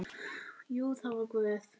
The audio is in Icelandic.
Jú, það var Guð.